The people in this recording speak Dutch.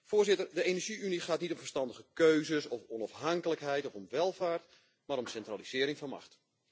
Voorzitter, de energie unie gaat niet om verstandige keuzes, om onafhankelijkheid of om welvaart, maar om centralisering van macht.